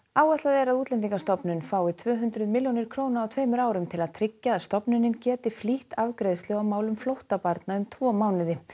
áætlað er að Útlendingastofnun fái tvö hundruð milljónir króna á tveimur árum til að tryggja að stofnunin geti flýtt afgreiðslu á málum flóttabarna um tvo mánuði